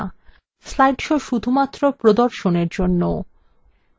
slide shows শুধুমাত্র প্রদর্শনের জন্য